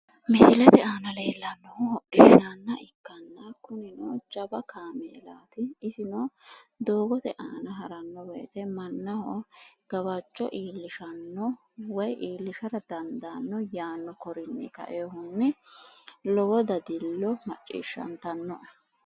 Misilete aana leellannohu hodishshaanna ikkanna kunino jawa kameelaati isino doogote aana haranno woyiite mannaho gawajjo iillishamno woy iillishara dandaanno yaanno korinni ka"eyoohunni lowo dadillino maciishshantanno"e.